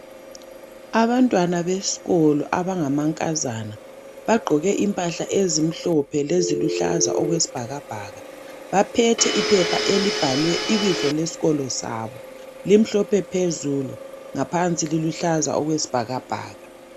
Abantwana beskolo abangamankazana bagqoke impahla ezimhlophe leziluhlaza okwesibhakabhaka baphethe iphepha elibhalwe ibizo lesikolo sabo limhlophe phezulu ngaphansi liluhlaza okwesibhakabhaka.